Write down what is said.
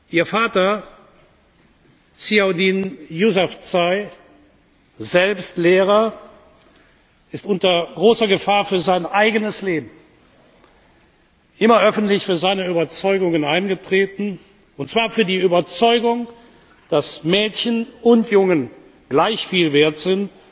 Ihr Vater, Ziauddin Yousafzai, selbst Lehrer, ist unter großer Gefahr für sein eigenes Leben, immer öffentlich für seine Überzeugungen eingetreten, und zwar für die Überzeugung, dass Mädchen und Jungen gleich viel wert sind